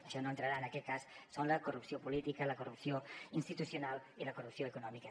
això no entrarà en aquest cas són la corrupció política la corrupció institucional i la corrupció econòmica